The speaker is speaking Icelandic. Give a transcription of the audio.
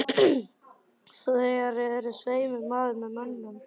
Þér eruð svei mér maður með mönnum.